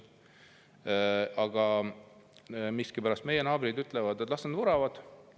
Aga miskipärast meie naabrid ütlevad, et las need bussid vuravad.